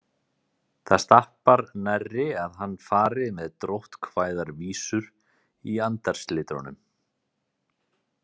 Það stappar nærri að hann fari með dróttkvæðar vísur í andarslitrunum.